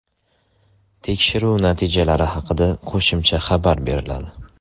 Tekshiruv natijalari haqida qo‘shimcha xabar beriladi.